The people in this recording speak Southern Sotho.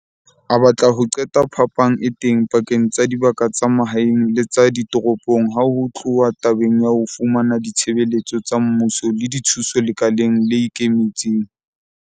A batla ho qeta phapang e teng pakeng tsa dibaka tsa mahaeng le tsa ditoropong ha ho tluwa tabeng ya ho fumana ditshebeletso tsa mmuso le dithuso lekaleng le ikemetseng.